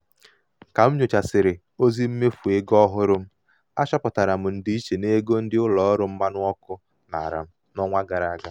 ka m nyochasịrị ozi mmefu ego ozi mmefu ego ọhụrụ m achọpụtara m ndịiche n'ego ndị ụlọ mmanụ ọkụ nara m n'ọnwa gara aga.